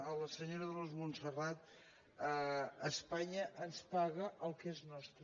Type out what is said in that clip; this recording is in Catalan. a la senyora dolors montserrat espanya ens paga el que és nostre